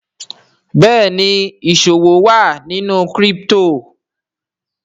Béèni ìṣòwò ní crypto wa.